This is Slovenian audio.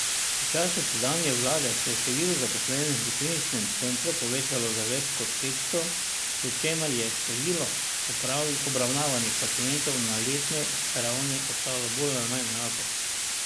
V času sedanje vlade se je število zaposlenih v kliničnem centru povečalo za več kot petsto, pri čemer je število obravnavanih pacientov na letni ravni ostalo bolj ali manj enako.